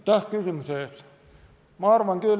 Aitäh küsimuse eest!